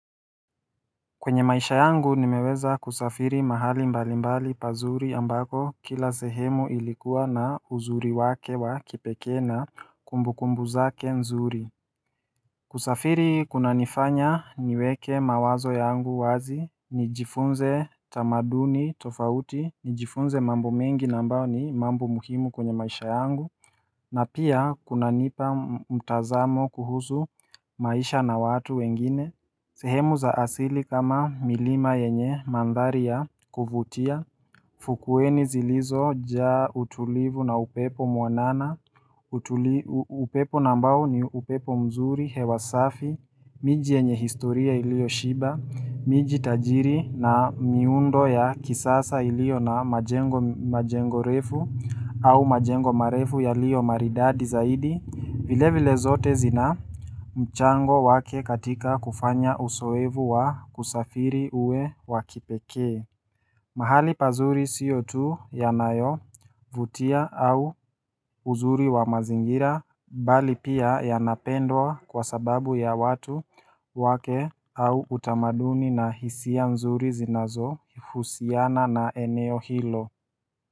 Kwenye maisha yangu, nimeweza kusafiri mahali mbali mbali pazuri ambako, kila sehemu ilikuwa na uzuri wake wa kipekena kumbukumbu zake nzuri. Kusafiri kunanifanya niweke mawazo yangu wazi. Nijifunze tamaduni tofauti, nijifunze mambo mengi na ambao ni mambo muhimu kwenye maisha yangu. Na pia kunanipa mtazamo kuhusu maisha na watu wengine. Sehemu za asili kama milima yenye mandharia ya kuvutia. Fukweni zilizojaa utulivu na upepo mwanana. Upepo na ambao, ni upepo mzuri, hewa safi. Miji yenye historia ilioshiba miji tajiri na miundo ya kisasa ilio na majengo refu. Au majengo marefu yalio maridadi zaidi. Vile vile zote zina mchango wake katika kufanya usoevu wa kusafiri uwe wa kipekee. Mahali pazuri siyo tu yanayovutia au uzuri wa mazingira. Bali pia yanapendwa. Kwa sababu ya watu wake au utamaduni na hisia mzuri zinazohusiana na eneo hilo.